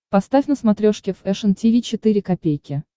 поставь на смотрешке фэшн ти ви четыре ка